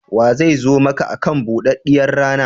Waye zai zo maka akan buɗaɗɗiyar rana?